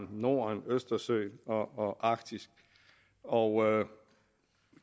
norden østersøen og arktis og